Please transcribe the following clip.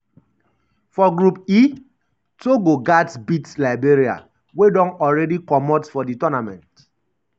for group e togo gatz beat liberia um wey don alreadi comot for di um tournament.